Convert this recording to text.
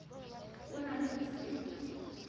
o na le ho se